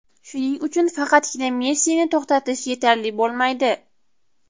Shuning uchun, faqatgina Messini to‘xtatish yetarli bo‘lmaydi.